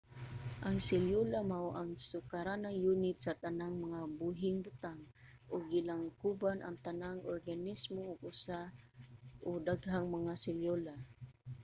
ang selyula mao ang sukaranang yunit sa tanang mga buhing butang ug gilangkuban ang tanang organismo og usa o daghang mga selyula